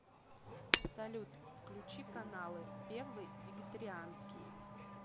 салют включи каналы первый вегетарианский